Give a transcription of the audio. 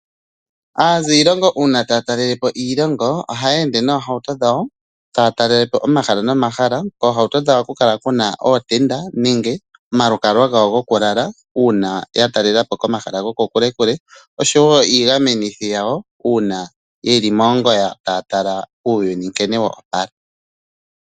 Aziilongo uuna taya talelepo iilongo, oha yeende nohauto dhawo taya talelepo omahala nomahala. Oohauto dhawo ohadhi kala dhina ootenda, omalukalwa gawo gokulala uuna ya talelapo komahala gokokule oshowo iigamenithi yawo uuna yeli moongoya taya tala nkene uuyuni woopala.